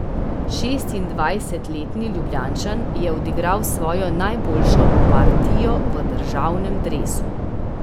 Šestindvajsetletni Ljubljančan je odigral svojo najboljšo partijo v državnem dresu.